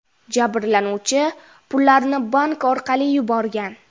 Jabrlanuvchi pullarni bank orqali yuborgan.